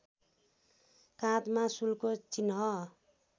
काँधमा शूलको चिह्न